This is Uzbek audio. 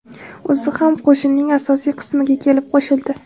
O‘zi ham qo‘shinning asosiy qismiga kelib qo‘shildi.